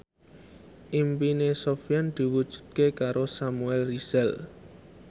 impine Sofyan diwujudke karo Samuel Rizal